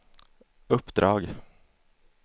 uppdrag